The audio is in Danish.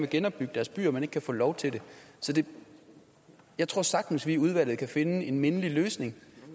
genopbygge deres byer men ikke kan få lov til det jeg tror sagtens at vi i udvalget kan finde en mindelig løsning